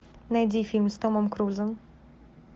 найди фильм с томом крузом